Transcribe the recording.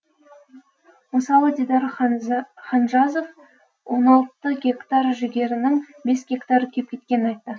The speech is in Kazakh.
мысалы дидар ханжазов он алты гектар жүгерінің бес гектары күйіп кеткенін айтты